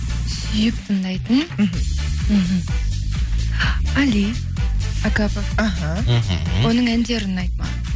сүйіп тыңдайтын мхм мхм али окапов іхі мхм оның әндері ұнайды маған